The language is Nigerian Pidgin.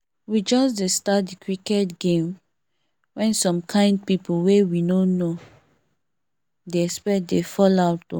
we just dey start the cricket game when some kind people wey we no dey expect dey fall out o